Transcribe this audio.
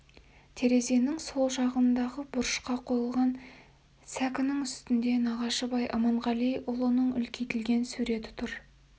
терезенің сол жағындағы бұрышқа қойылған сәкінің үстінде нағашыбай аманғалиұлының үлкейтілген суреті тұр